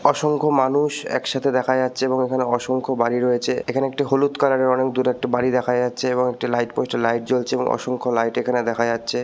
অসংখ্য মানুষ একসাথে দেখা যাচ্ছে এবং এখানে অসংখ্য বাড়ি রয়েছে। এখানে একটি হলুদ কালারের অনেক দূর একটা বাড়ি দেখা যাচ্ছে এবং একটি লাইট পোস্টের লাইট জ্বলছে এবং অসংখ্য লাইট এখানে দেখা যাচ্ছে ।